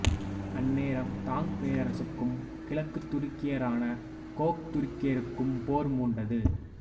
அந்நேரம் தாங் பேரரசுக்கும் கிழக்குத் துருக்கியரான கோக்துருக்கியருக்கும் போர் மூண்டது